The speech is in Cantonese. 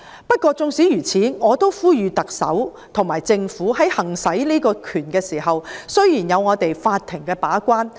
不過，縱使如此，我也呼籲特首和政府在行使這項權力時，雖然有法庭把關......